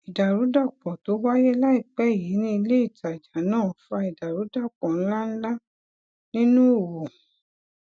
ìdàrúdàpò tó wáyé láìpẹ yìí ní ilé ìtajà náà fa ìdàrúdàpò ńláǹlà nínú òwò